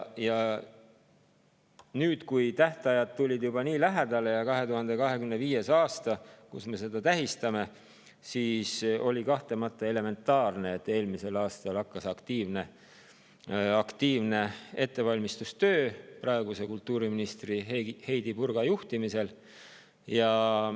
Kui tähtajad tulid juba nii lähedale, kui tuli lähedale 2025. aasta, mil me seda tähistame, siis oli kahtlemata elementaarne, et eelmisel aastal hakkas aktiivne ettevalmistustöö praeguse kultuuriministri Heidy Purga juhtimisel.